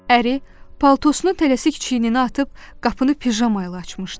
Əri paltosunu tələsik çiyninə atıb qapını pijamayla açmışdı.